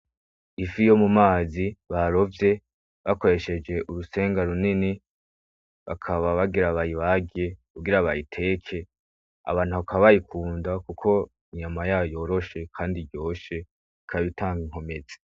Ifi yo mu mazi barovye bakoresheje urusenga runini bakaba bagira bayibage kugira bayiteke abantu bakaba bayikunda kuko inyama yayo yoroshe kandi iryoshe ikaba itanga inkomezi.